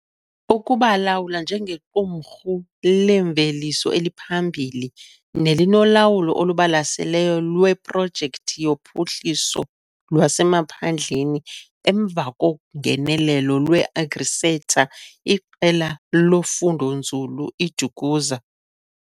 Ukubalulwa njengequmrhu leemveliso eliphambili, nelinolawulo olubalaseleyo lweprojekthi yophuhliso lwasemaphandleni emva kongenelelo lweAgriSeta - iQela loFundonzulu iDukuza.